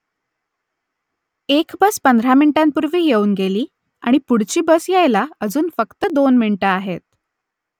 एक बस पंधरा मिनिटांपूर्वी येऊन गेली आणि पुढची बस यायला अजून फक्त दोन मिनिटं आहेत